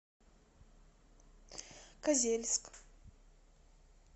козельск